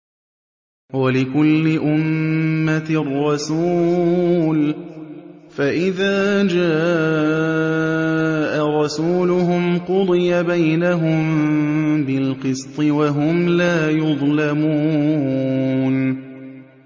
وَلِكُلِّ أُمَّةٍ رَّسُولٌ ۖ فَإِذَا جَاءَ رَسُولُهُمْ قُضِيَ بَيْنَهُم بِالْقِسْطِ وَهُمْ لَا يُظْلَمُونَ